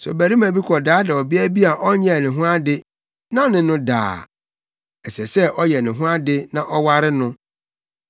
“Sɛ ɔbarima bi kɔdaadaa ɔbea bi a ɔnyɛɛ ne ho ade na ɔne no da a, ɛsɛ sɛ ɔyɛ ne ho ade na ɔware no.